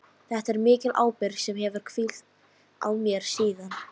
Þetta er mikil ábyrgð sem hefur hvílt á mér síðan.